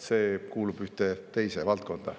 See kuulub ühte teise valdkonda.